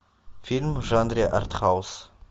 фильм в жанре арт хаус